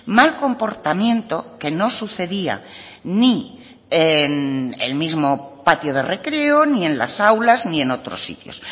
mal comportamiento que no sucedía ni en el mismo patio de recreo ni en las aulas ni en otros sitios